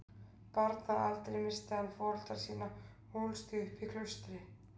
Barn að aldri missti hann foreldra sína og ólst því upp í klaustri.